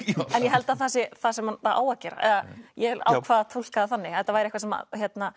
en ég held að það sé það sem það á að gera ég ákvað að túlka það þannig að þetta væri eitthvað sem